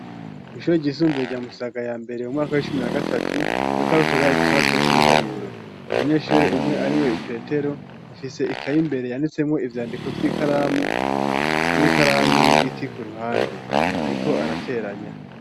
Kw'shure ryisumbue rya Musaga ya mbere mu mwaka w'icumi na gatatu, bariko gakora ikibazo c'ibiharuro umunyeshure umwe ari we Petero afise ikaye imbere yanditsemwo ivyandiko vy'ikramu, n'ikaramu y'igiti ku ruhande. Ariko arateranya.